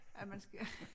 Ja man skal